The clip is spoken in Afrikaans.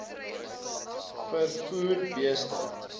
v vervoer bestee